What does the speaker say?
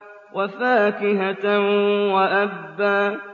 وَفَاكِهَةً وَأَبًّا